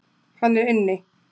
Hann er inni.